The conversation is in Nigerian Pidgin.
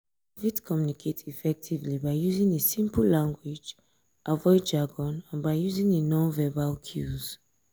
i fit communicate effectively by using a simple language avoid jargon and by using a non-verbal cues.